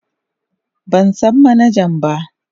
Ban san manaja ba.